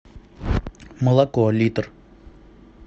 молоко литр